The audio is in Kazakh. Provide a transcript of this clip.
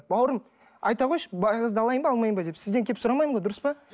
бауырым айта қойшы бай қызды алайын ба алмайын ба деп сізден келіп сұрамаймын ғой дұрыс па